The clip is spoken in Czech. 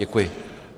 Děkuji.